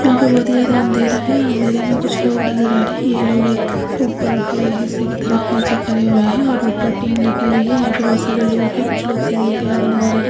यहाँ पे बहुत ही ज्यादा अंधेरा है अंधेरे में कुछ लोग नजर आ रहे हैं ये लोग एक ऊपर के हिस्से की तरफ नीचे खड़े हुए हैं और ऊपर टीन लगी हुई है यहाँ पर बहुत सारे लोग है कुछ लोग सीढ़ियों के आगे नजर आ रहे।